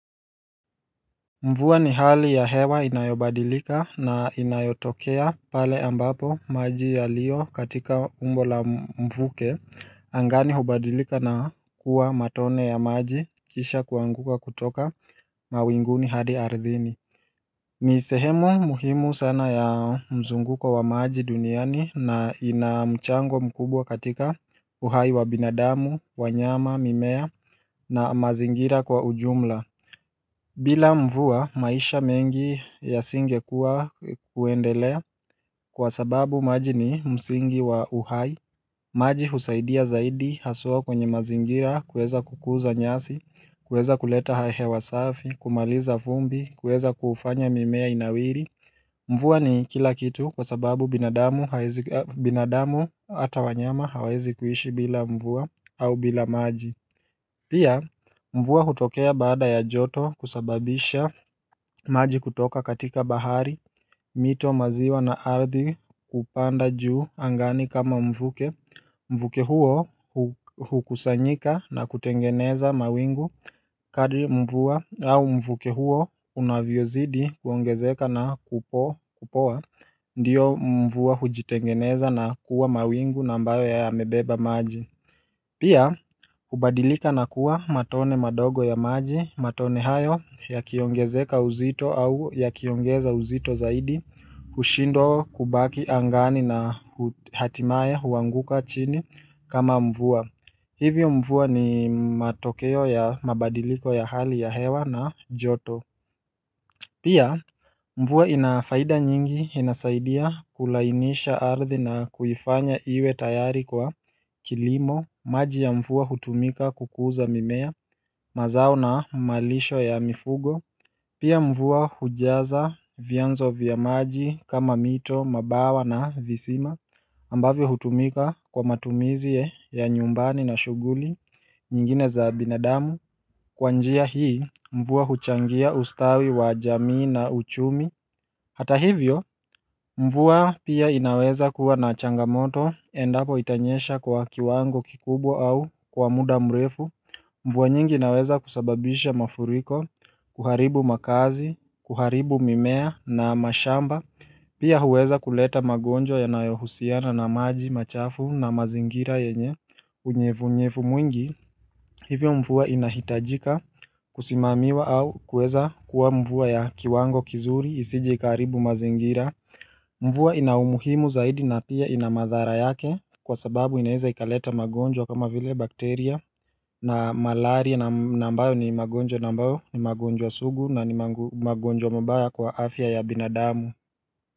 Mvua ni hali ya hewa inayobadilika na inayotokea pale ambapo maji yalio katika umbo la mvuke angani hubadilika na kuwa matone ya maji kisha kuanguka kutoka mawinguni hadi ardhini ni sehemu muhimu sana ya mzunguko wa maji duniani na inamchango mkubwa katika uhai wa binadamu, wanyama, mimea na mazingira kwa ujumla bila mvua maisha mengi yasingekuwa kuendelea kwa sababu maji ni msingi wa uhai maji husaidia zaidi haswaa kwenye mazingira kuweza kukuza nyasi, kuweza kuleta hahe hewa safi, kumaliza vumbi, kuweza kufanya mimea inawiri mvua ni kila kitu kwa sababu binadamu haezi binadamu hata wanyama hawawezi kuishi bila mvua au bila maji Pia, mvua hutokea baada ya joto kusababisha maji kutoka katika bahari, mito maziwa na ardhi kupanda juu angani kama mvuke Mvuke huo hukusanyika na kutengeneza mawingu kadri mvua au mvuke huo unavyozidi kuongezeka na kupo kupoa Ndiyo mvua hujitengeneza na kuwa mawingu na ambayo ya mebeba maji Pia, hubadilika na kuwa matone madogo ya maji, matone hayo ya kiongezeka uzito au ya kiongeza uzito zaidi hushindwa kubaki angani na hatimaye huanguka chini kama mvua. Hivyo mvua ni matokeo ya mabadiliko ya hali ya hewa na joto. Pia mvua ina faida nyingi inasaidia kulainisha ardhi na kuifanya iwe tayari kwa kilimo maji ya mvua hutumika kukuza mimea mazao na malisho ya mifugo Pia mvua hujaza vianzo vya maji kama mito mabawa na visima ambavyo hutumika kwa matumizi ya nyumbani na shughuli nyingine za binadamu Kwa njia hii, mvua huchangia ustawi wa jamii na uchumi Hata hivyo, mvua pia inaweza kuwa na changamoto endapo itanyesha kwa kiwango kikubwa au kwa muda mrefu mvua nyingi inaweza kusababisha mafuriko, kuharibu makazi, kuharibu mimea na mashamba Pia huweza kuleta magonjwa yanayohusiana na maji, machafu na mazingira yenye Unyevunyevu mwingi hivyo mvua inahitajika kusimamiwa au kuweza kuwa mvua ya kiwango kizuri isiji ikaribu mazingira mvua ina umuhimu zaidi na pia ina madhara yake kwa sababu inaiza ikaleta magonjwa kama vile bakteria na malaria na na mbayo ni magonjwa na ambayo ni magonjwa sugu na ni mago magonjwa mabaya kwa afya ya binadamu.